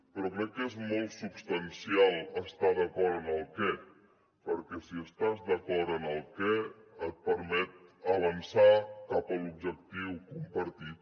però crec que és molt substancial estar d’acord en el què perquè si estàs d’acord en el què et permet avançar cap a l’objectiu compartit